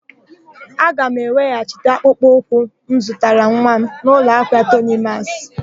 A ga m eweghachi akpụkpọ ụkwụ m zụtara nwa m n'ụlọahịa Tonimasị.